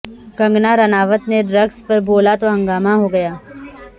کنگنا رانوت نے ڈرگس پر بولا تو ہنگامہ ہوگیا